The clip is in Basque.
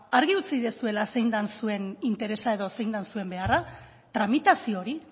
argi utzi duzuela zein den zuen interesa edo zein den zuen beharra tramitazio hori